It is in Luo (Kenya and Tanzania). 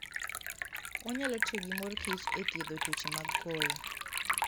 Onyalo tiyo gi mor kich e thiedho tuoche mag koyo